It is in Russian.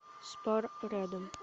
спар рядом